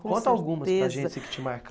Conta algumas para a gente aí que te marca